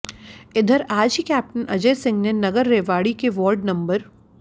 इधर आज ही कैप्टन अजय सिंह ने नगर रेवाड़ी के वार्ड नं